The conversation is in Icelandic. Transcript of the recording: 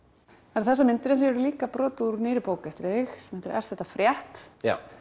það eru þessar myndir en svo eru það líka brot úr nýrri bók eftir þig sem heitir er þetta frétt